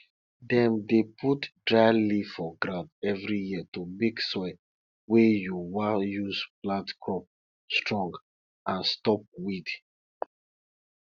dem dey put dry leaf for ground every year to make soil wey you wan use plant crop strong and stop weed